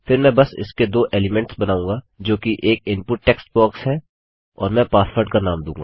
फिर मैं बस इसके दो एलिमेंट्स बनाऊँगा जोकि एक इनपुट टेक्स्ट बॉक्स है और मैं पासवर्ड का नाम दूँगा